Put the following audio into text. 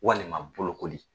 Walima bolokoli